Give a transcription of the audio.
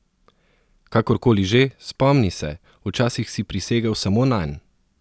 Kakorkoli že, spomni se, včasih si prisegal samo nanj!